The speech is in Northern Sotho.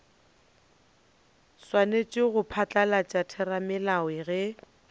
swanetše go phatlalatša theramelao ge